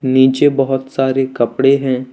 नीचे बहुत सारे कपड़े हैं।